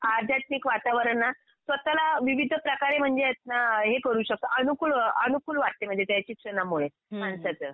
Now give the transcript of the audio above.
अध्यात्मिक वातावरण ना स्वतःला विविध प्रकारे म्हणजे येत ना अ हे करू शकतो, अनुकूल अनुकूल वाटते म्हणजे शिक्षणामुळे माणसाचं.